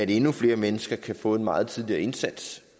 endnu flere mennesker kan få en meget tidligere indsats